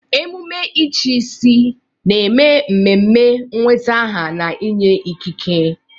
Emume ịchịisi na-eme ememe nweta aha na inye ikike.